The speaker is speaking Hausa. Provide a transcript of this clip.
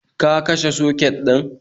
Ka kashe soket din?